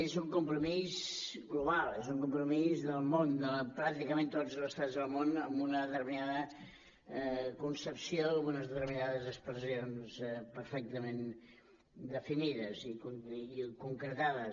és un compromís global és un compromís del món de pràcticament tots els estats del món amb una determinada concepció unes determinades expressions perfectament definides i concretades